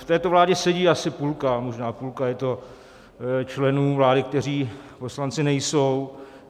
V této vládě sedí asi půlka, možná půlka je to, členů vlády, kteří poslanci nejsou.